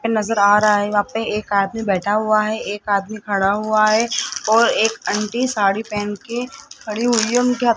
नजर आ रहा है यहां पे एक आदमी बैठा हुआ है एक आदमी खड़ा हुआ है और एक आंटी साड़ी पहन के खड़ी हुई उनके --